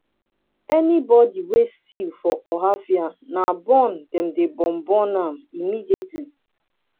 anybody wey steal for ohaofia na burn dem dey burn burn am immediately